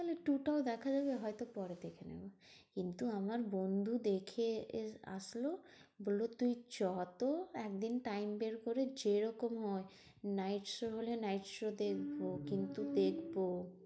Two টাও দেখা যাবে হয়তো পরে দেখে নেবো। কিন্তু আমার বন্ধু দেখে এসে আসলো বললো তুই চ তো একদিন time বের করে। যেরকম হয় night show হলে night show দেখবো কিন্তু দেখবো।